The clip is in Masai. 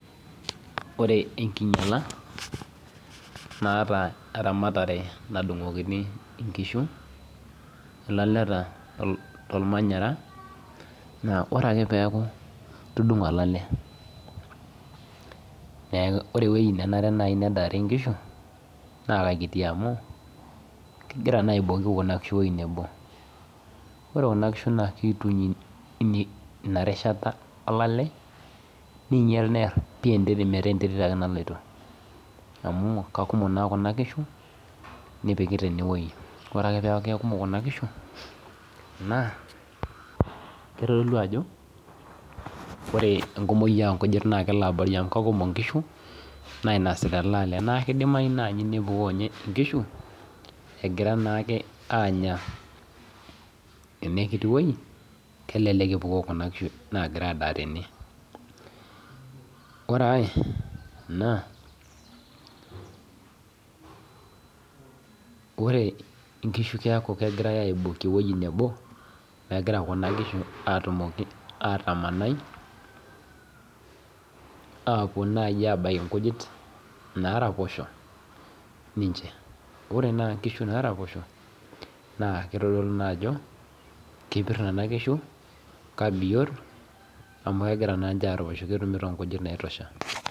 Ore enkinyala, naata eramatare nadung'okini inkishu, ilaleta tormanyara, naa ore peeku itudung'o olale, ore ewoi nenare nai nedaare nkishu, naa kakiti amu igira naa aibooki kuna kishu ewoi nebo. Ore kuna kishu naa kituny inarishata olale, ninyel neer pi enterit metaa enterit ake naloito. Amu kakumok naa kuna kishu, nipikita enewoi. Ore ake peku kakumok kuna kishu, naa, kitodolu ajo ore enkumoyu onkujit na kelo abori amu kakumok nkishu, nainasita ele ale. Na kidimayu nai nepuo nye inkishu, egira naake anya enekiti woi, kelelek epukoo kuna kishu nagira adaa tene. Ore ai naa, ore nkishu neeku kegirai aibooki ewoi nebo, megira kuna kishu atumoki atamanai, apuo nai abaki nkujit naraposho ninche. Ore naa nkishu naraposho, naa kitodolu naa ajo, kepir nena kishu, kabiot, amu kegira naanche araposho ketumito nkujit naitosha.